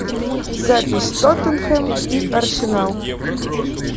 запись тоттенхэм и арсенал